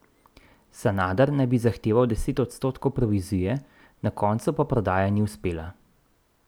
Sanader naj bi zahteval deset odstotkov provizije, na koncu pa prodaja ni uspela.